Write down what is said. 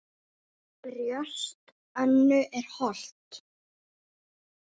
Brjóst Önnu er holt.